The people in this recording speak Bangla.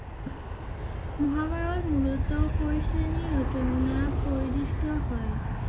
মহাভারত মূলত কোন শ্রেণীর রচনা পরিদিষ্ট হয়?